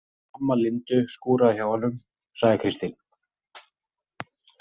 Amma Lindu skúraði hjá honum, sagði Kristín.